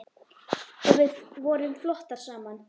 Og við vorum flottar saman.